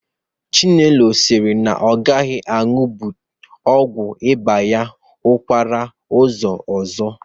Chinelo siri na ọ gaghị agbahapụ ọgwụ ịba ya n'ọkara ụzọ ọzọ